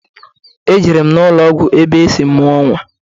Ejere m n'ụlọgwụ ebe o sị mụọ nnwa.